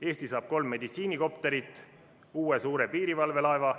Eesti saab kolm meditsiinikopterit, uue suure piirivalvelaeva.